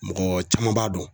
Mɔgɔ caman b'a dɔn.